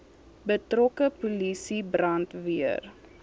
betrokke polisie brandweer